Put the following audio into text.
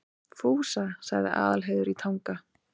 Fúsa, sagði Aðalheiður í Tanga.